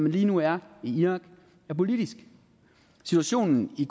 lige nu er i irak er politisk situationen i